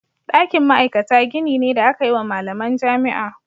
Ɗakin ma'aikata gini ne da aka yi wa malaman jami'a.